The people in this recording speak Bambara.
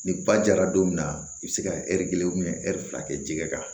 Ni ba jara don min na i be se ka ɛri kelen ɛri fila kɛ jɛgɛ kan